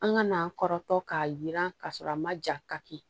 An ka n'an kɔrɔtɔ k'a yiran k'a sɔrɔ a ma ja ka kɛ